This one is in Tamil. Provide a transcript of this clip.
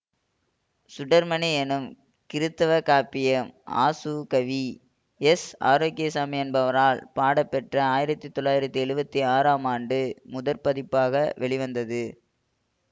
சுடர்மணி என்னும் கிறித்தவக் காப்பியம் ஆசுகவி எஸ் ஆரோக்கியசாமி என்பவரால் பாடப்பெற்று ஆயிரத்தி தொளாயிரத்தி ஏழுபத்தி ஆறாம் ஆம் ஆண்டு முதற்பதிப்பாக வெளிவந்தது